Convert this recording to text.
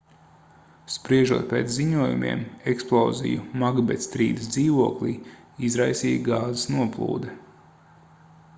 spriežot pēc ziņojumiem eksploziju makbetstrītas dzīvoklī izraisīja gāzes noplūde